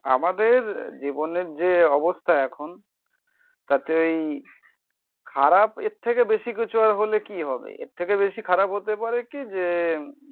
আমাদের জীবনের যে অবস্থা এখন. তাতেই খারাপ এর থেকে বেশি কিছু আর হলে কি হবে? এর থেকে বেশি খারাপ হতে পারে কি যে